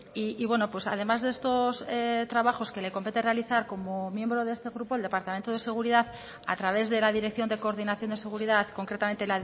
y bueno pues además de estos trabajos que le compete realizar como miembro de este grupo el departamento de seguridad a través de la dirección de coordinación de seguridad concretamente